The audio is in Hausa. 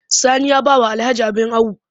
Sani ya ba wa Alhaji abin awo